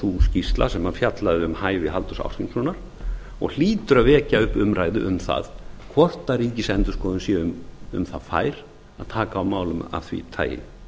sú skýrsla sem fjallaði um hæfi halldórs ásgrímssonar og hlýtur að vekja upp umræðu um það hvort ríkisendurskoðun sé um það fær að taka á málum af því tagi